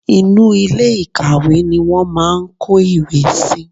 Inú ilé ìkàwé ni wọ́n máà ń kó ìwé síi.